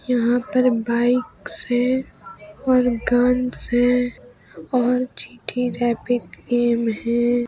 यहा पर बइकस है और गनस है और जी_टी रैबिट गेम है।